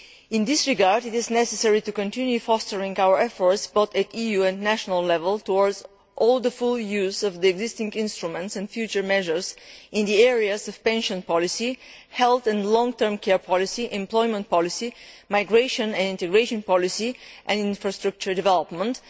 In this regard, it is necessary to continue fostering our efforts, both at EU and national level, towards the full use of existing instruments and future measures in the areas of pensions policy, health and long term care policy, employment policy, migration and integration policy, and infrastructure development.